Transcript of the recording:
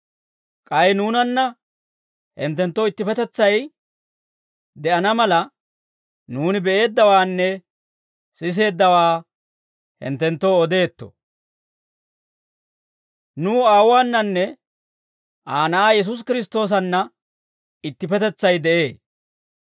K'ay nuunanna hinttenttoo ittippetetsay de'ana mala, nuuni be'eeddawaanne siseeddawaa hinttenttoo odeetto; nuw Aawuwaananne Aa Na'aa Yesuusi Kiristtoosanna ittippetetsay de'ee.